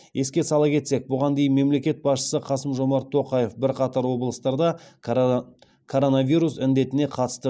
еске сала кетсек бұған дейін мемлекет басшысы қасым жомарт тоқаев бірқатар облыстарда коронавирус індетіне қатысты